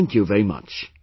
Thank you very much